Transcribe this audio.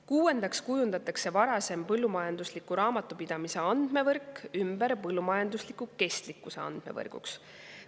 Kuuendaks kujundatakse varasem põllumajandusliku raamatupidamise andmevõrk ümber põllumajandusliku kestlikkuse andmevõrguks.